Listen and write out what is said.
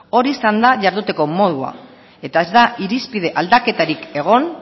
hori izan da jarduteko modua eta ez da irizpide aldaketarik egon